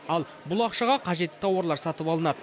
ал бұл ақшаға қажетті тауарлар сатып алынады